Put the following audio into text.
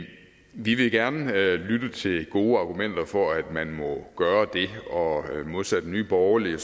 vi vil gerne lytte til gode argumenter for at man må gøre det og modsat nye borgerlige